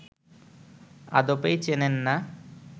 আদপেই চেনেন না